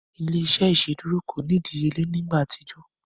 Ile-iṣẹ iṣeduro ko ni idiyele ni igba atijọ.